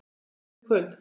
Kemur þú í kvöld?